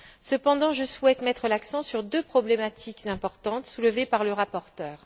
Cependant, je souhaite mettre l'accent sur deux problématiques importantes soulevées par le rapporteur.